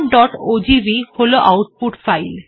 test1ওজিভি হল output file